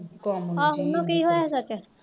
ਕੰਮ ਮੁਕੇ